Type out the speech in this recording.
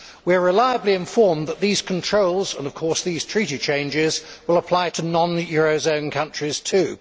We are reliably informed that these controls, and of course these treaty changes, will apply to non eurozone countries too.